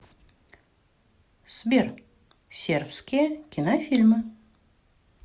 сбер сербские кинофильмы